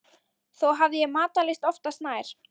Þó hafði ég matarlyst oftast nær.